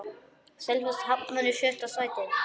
Selfoss hafnar í sjötta sæti.